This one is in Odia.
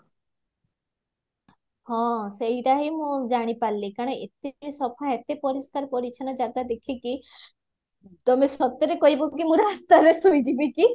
ହଁ ସେଇଟା ହିଁ ମୁଁ ଜାଣିପାରିଲି କାରଣ ଏତିକି ସଫା ଏତେ ପରିଷ୍କାର ପରିଚ୍ଛନ ଜାଗା ଦେଖିକି ତମେ ସତରେ କହିବ କି ମୁଁ ରାସ୍ତାରେ ଶୋଇଯିବି କି